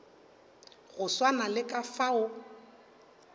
go swana le ka fao